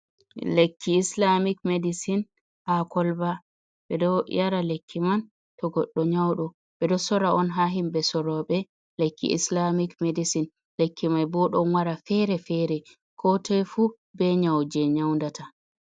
Lekki islamik medisin ha kolba. Ɓe ɗo yara lekki man to goɗɗ nyauɗo. Ɓe ɗo sora on ha himɓe soroɓe lekki islamik medisin. Lekki mai bo ɗon wara fere-fere ko toi fu be nyau je nyau ndata.